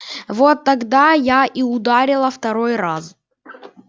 вот тогда я и ударила второй раз